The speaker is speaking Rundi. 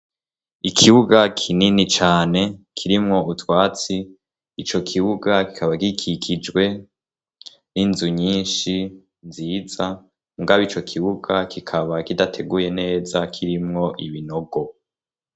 Ikibuga kinini cane kirimwo utwatsi ico kibuga kikaba kikikijwe n'inzu nyinshi nziza mgabe ico kibuga kikaba kidateguye neza kirimwo ibinogo.